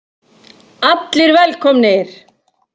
ALLIR VELKOMNIR!